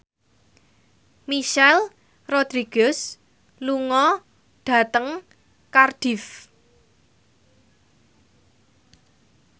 Michelle Rodriguez lunga dhateng Cardiff